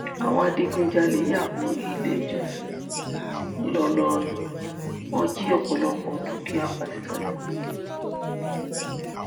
àwọn adigunjalè ya bo iléìjọsìn ńlọrọrìn wọn jí ọpọlọpọ dúkìá pásítọ lọ